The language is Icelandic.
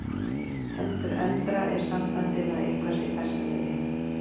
Heldur eldra er sambandið að eitthvað sé bessaleyfi.